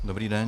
Dobrý den.